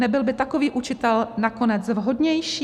Nebyl by takový učitel nakonec vhodnější?